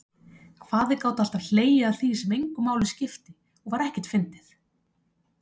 Hvað þeir gátu alltaf hlegið að því sem engu máli skipti og var ekkert fyndið.